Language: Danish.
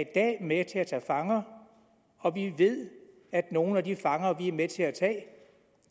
i dag med til at tage fanger og vi ved at nogle af de fanger vi er med til at tage